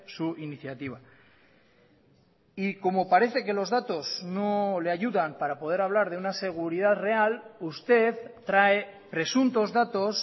su iniciativa y como parece que los datos no le ayudan para poder hablar de una seguridad real usted trae presuntos datos